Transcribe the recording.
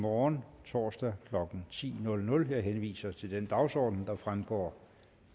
morgen torsdag klokken ti jeg henviser til den dagsorden der fremgår